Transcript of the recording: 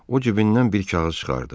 O cibindən bir kağız çıxartdı.